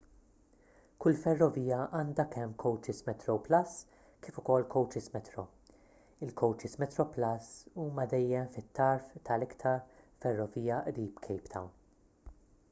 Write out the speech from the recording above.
kull ferrovija għandha kemm kowċis metroplus kif ukoll kowċis metro il-kowċis metroplus huma dejjem fit-tarf tal-iktar ferrovija qrib cape town